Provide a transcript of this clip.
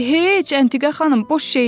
Heç, Natiqə xanım, boş şeydir.